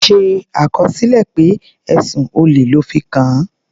Ṣe àkọsílẹ̀ pé ẹ̀sùn olè lọ́ fi kàn án.